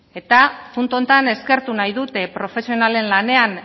eta puntu honetan eskertu nahi dut profesionalen lanean